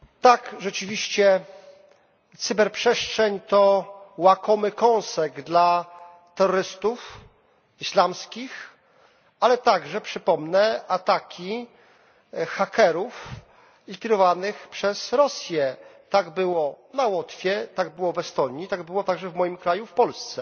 Pani Przewodnicząca! Rzeczywiście, cyberprzestrzeń to łakomy kąsek dla terrorystów islamskich, ale także przypomnę ataki hakerów kierowanych przez Rosję. Tak było na Łotwie, tak było w Estonii, tak było także w moim kraju w Polsce.